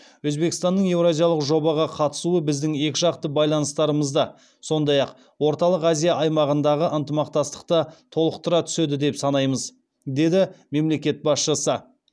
өзбекстанның еуразиялық жобаға қатысуы біздің екіжақты байланыстарымызды сондай ақ орталық азия аймағындағы ынтымақтастықты толықтыра түседі деп санаймыз деді мемлекет басшысы